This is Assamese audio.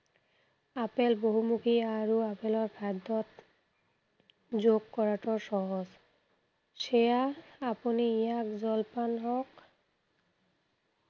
আপেল বহুমুখী আৰু আপেলৰ খাদ্য়ত যুগ কৰাটো সহজ। সেইয়া আপুনি ইয়াক জলপান হওঁক